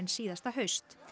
síðasta haust